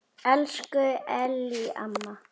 Elsku Ellý amma.